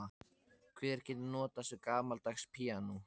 Hver getur notast við gamaldags píanó?